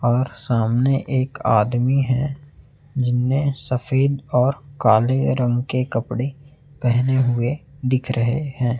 और सामने एक आदमी है जिनने सफेद और काले रंग के कपड़े पहने हुए दिख रहे हैं।